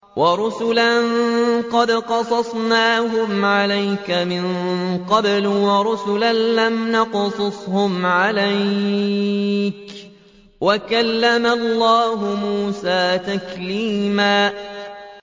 وَرُسُلًا قَدْ قَصَصْنَاهُمْ عَلَيْكَ مِن قَبْلُ وَرُسُلًا لَّمْ نَقْصُصْهُمْ عَلَيْكَ ۚ وَكَلَّمَ اللَّهُ مُوسَىٰ تَكْلِيمًا